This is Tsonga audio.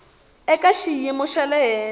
eka xiyimo xa le henhla